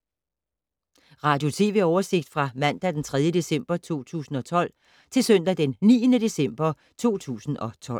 Radio/TV oversigt fra mandag d. 3. december 2012 til søndag d. 9. december 2012